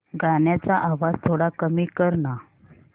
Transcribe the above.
गाण्याचा आवाज थोडा कमी कर ना